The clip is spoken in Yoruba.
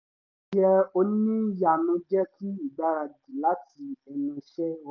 yẹ oníyanu jẹ́ kí ìgbaradì lati ẹnu iṣẹ́ rọ